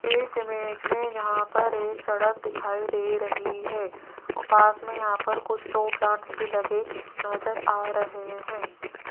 इस इमेज में यहां पर एक सड़क दिखाई दे रही है औ पास में यहां पर कुछ तो प्लांट्स भी लगे नजर आ रहे हैं।